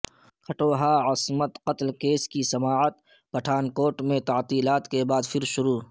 کھٹوعہ عصمت قتل کیس کی سماعت پٹھانکوٹ میں تعطیلات کے بعدپھر شروع